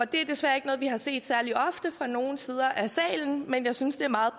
det er desværre ikke noget vi har set særlig ofte fra nogen sider af salen men jeg synes det er meget